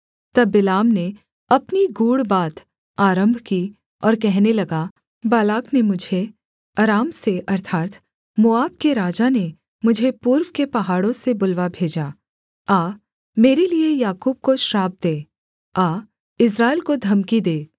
तब बिलाम ने अपनी गूढ़ बात आरम्भ की और कहने लगा बालाक ने मुझे अराम से अर्थात् मोआब के राजा ने मुझे पूर्व के पहाड़ों से बुलवा भेजा आ मेरे लिये याकूब को श्राप दे आ इस्राएल को धमकी दे